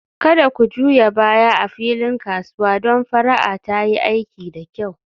Kada ku juya baya a filin kasuwa don fara'a ta yi aiki da kyau